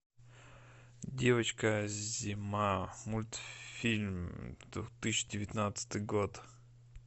девочка зима мультфильм две тысячи девятнадцатый год